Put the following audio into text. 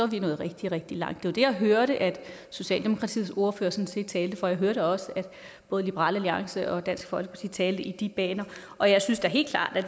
vi nået rigtig rigtig langt det var det jeg hørte at socialdemokratiets ordfører sådan set talte for jeg hørte også at både liberal alliance og dansk folkeparti talte i de baner og jeg synes da helt klart at